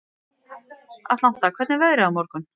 Atlanta, hvernig er veðrið á morgun?